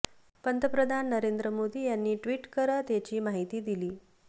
पंतप्रधान नरेंद्र मोदी यांनी ट्विट करत याची माहिती दिली